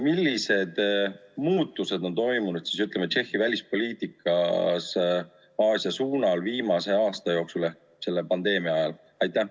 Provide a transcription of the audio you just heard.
Millised muutused on toimunud, ütleme, Tšehhi välispoliitikas Aasia suunal viimase aasta jooksul, selle pandeemia ajal?